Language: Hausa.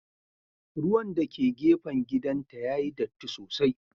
Ruwan dake gefen gidanta yayi datti sosai.